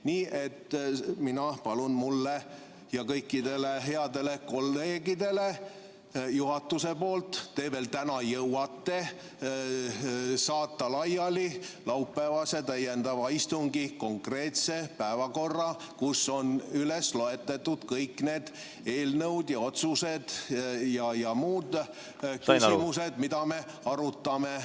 Nii et mina palun, et juhatus saadaks mulle ja kõikidele headele kolleegidele – te täna veel jõuate – laiali laupäevase täiendava istungi konkreetse päevakorra, kus on loetletud kõik need eelnõud, otsused ja muud küsimused, mida me arutame.